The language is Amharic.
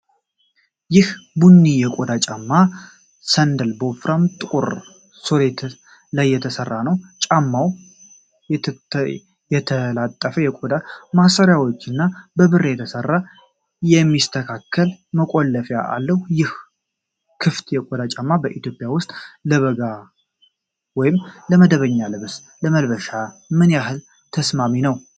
ይህ ቡኒ የቆዳ ጫማ (ሳንዳል) በወፍራም ጥቁር ሶል ላይ የተሠራ ነው። ጫማው የተጠላለፉ የቆዳ ማሰሪያዎችና በብር የተሠራ የሚስተካከል መቆለፊያ አለው። ይህ ክፍት የቆዳ ጫማ በኢትዮጵያ ውስጥ ለበጋ ወይም ለመደበኛ ልብስ ለመልበስ ምን ያህል ተስማሚ ነው?